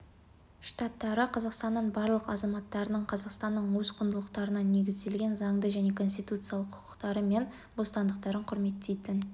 штаттары қазақстанның барлық азаматтарының қазақстанның өз құндылықтарына негізделген заңды және конституциялық құқықтары мен бостандықтарын құрметтейтін